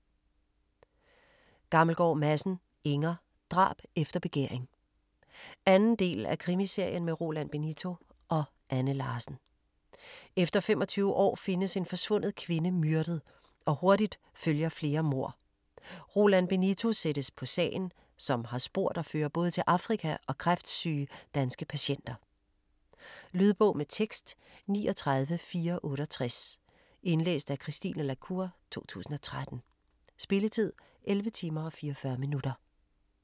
Gammelgaard Madsen, Inger: Drab efter begæring 2. del af Krimiserien med Roland Benito og Anne Larsen. Efter 25 år findes en forsvundet kvinde myrdet, og hurtigt følger flere mord. Roland Benito sættes på sagen, som har spor, der fører både til Afrika og kræftsyge danske patienter. Lydbog med tekst 39468 Indlæst af Christine la Cour, 2013. Spilletid: 11 timer, 44 minutter.